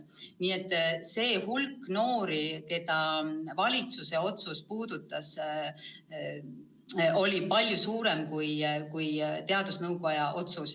Nii et see hulk noori, keda valitsuse otsus puudutas, on palju suurem, kui hõlmas teadusnõukoja otsus.